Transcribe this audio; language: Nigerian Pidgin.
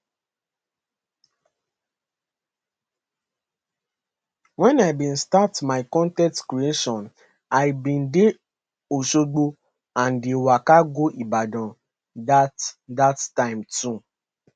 wen i bin start my con ten t creation i bin dey osogbo and dey waka go ibadan dat dat time too